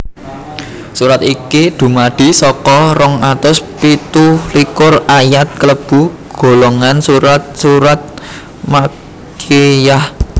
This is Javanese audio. Surat iki dumadi saka rong atus pitu likur ayat klebu golongan surat surat Makkiyyah